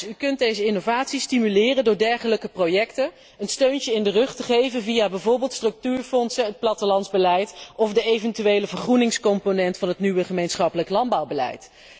U kunt deze innovatie stimuleren door dergelijke projecten een steuntje in de rug te geven via bijvoorbeeld structuurfondsen, het plattelandsbeleid of de eventuele vergroeningscomponent van het nieuwe gemeenschappelijk landbouwbeleid.